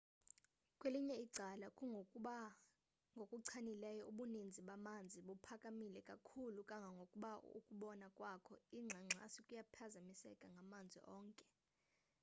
kwelinye icala kungokuba ngokuchanileyo ubuninzi bamanzi buphakamile kakhulu kangangokuba ukubona kwakho ingxangxasi kuyaphazamiseka ngamanzi onke